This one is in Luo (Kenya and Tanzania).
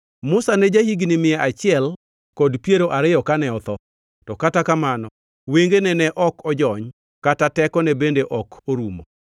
Musa ne ja-higni mia achiel kod piero ariyo kane otho, to kata kamano wengene ne ok ojony kata tekone bende ok orumo.